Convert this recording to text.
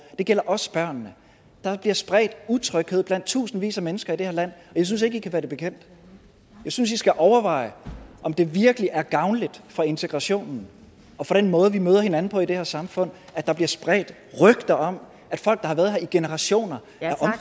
det gælder også børnene der bliver spredt utryghed blandt tusindvis af mennesker i det her land og jeg synes ikke i kan være det bekendt jeg synes i skal overveje om det virkelig er gavnligt for integrationen og for den måde vi møder hinanden på i det her samfund at der bliver spredt rygter om at folk der har været her i generationer er